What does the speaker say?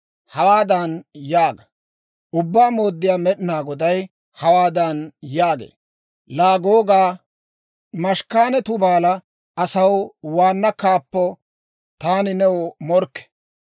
Hawaadan yaaga; ‹Ubbaa Mooddiyaa Med'inaa Goday hawaadan yaagee; Laa Googaa, Meshekanne Tubaala asaw waanna kaappoo, taani new morkke.